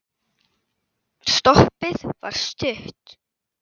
Stoppið var stutt.